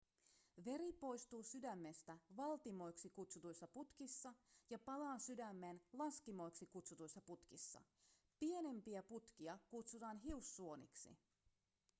veri poistuu sydämestä valtimoiksi kutsutuissa putkissa ja palaa sydämeen laskimoiksi kutsutuissa putkissa pienimpiä putkia kutsutaan hiussuoniksi